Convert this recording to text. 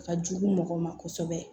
Ka jugu mɔgɔw ma kosɛbɛ